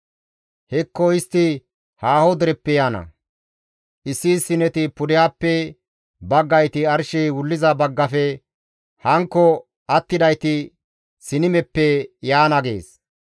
Hekko istti haaho dereppe yaana; issi issineti pudehappe, baggayti arshey wulliza baggafe, hankko attidayti Sinimeppe yaana» gees.